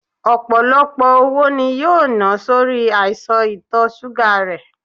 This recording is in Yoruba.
Ọpọlọpọ owó ni yoo na sori aisan itọ ṣuga rẹ